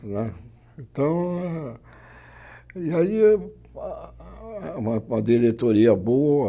Né então, e aí eh, ah uma uma diretoria boa...